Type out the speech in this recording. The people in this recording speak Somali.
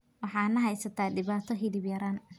Waxaa na haysata dhibaato hilib yaraan.